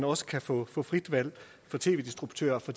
også kan få få frit valg af tv distributører så